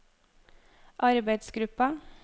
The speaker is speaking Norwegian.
arbeidsgruppa